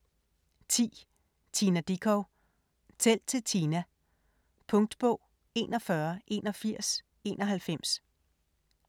10. Dickow, Tina: Tæl til Tina Punktbog 418191